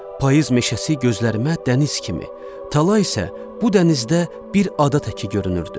Payız meşəsi gözlərimə dəniz kimi, tala isə bu dənizdə bir ada təki görünürdü.